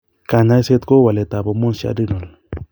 Kanyaiset kou walet ab hormones che adrenal